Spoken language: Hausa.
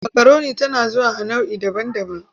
Makaroni tana zuwa a nau'i daban-daban.